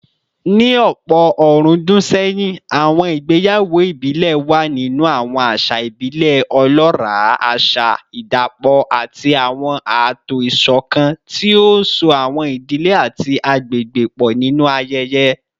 Ní ọ̀pọ̀ ọ̀rúndún sẹ́yìn, àwọn ìgbéyàwó ìbílẹ̀ wà nínú àwọn àṣà ìbílẹ̀ ọlọ́ràá, àṣà ìdapọ̀ àti àwọn ààtò ìṣọ̀kan tí ó so àwọn ìdílé àti àgbègbè pọ̀ nínú ayẹyẹ